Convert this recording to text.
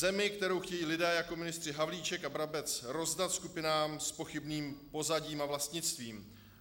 Zemi, kterou chtějí lidé jako ministři Havlíček a Brabec rozdat skupinám s pochybným pozadím a vlastnictvím.